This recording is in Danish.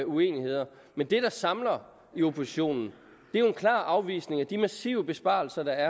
uenigheder men det der samler i oppositionen er jo en klar afvisning af de massive besparelser der